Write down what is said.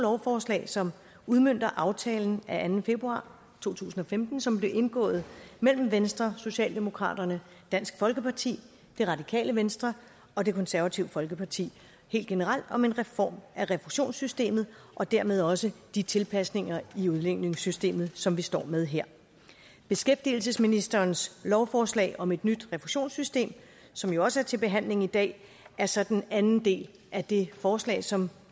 lovforslag som udmønter aftalen af anden februar to tusind og femten som blev indgået mellem venstre socialdemokraterne dansk folkeparti det radikale venstre og det konservative folkeparti helt generelt om en reform af refusionssystemet og dermed også de tilpasninger i udligningssystemet som vi står med her beskæftigelsesministerens lovforslag om et nyt refusionssystem som jo også er til behandling i dag er så den anden del af det forslag som